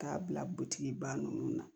K'a bila butigiba ninnu na